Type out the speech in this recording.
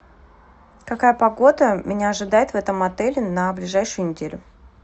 какая погода меня ожидает в этом отеле на ближайшую неделю